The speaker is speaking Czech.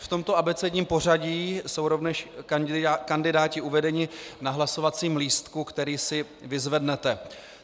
V tomto abecedním pořadí jsou rovněž kandidáti uvedeni na hlasovacím lístku, který si vyzvednete.